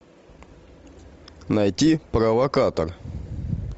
найти провокатор